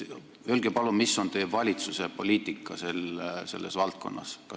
Öelge palun, mis on teie valitsuse poliitika selles valdkonnas!